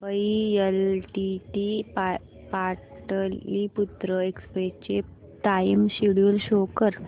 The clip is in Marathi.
मुंबई एलटीटी पाटलिपुत्र एक्सप्रेस चे टाइम शेड्यूल शो कर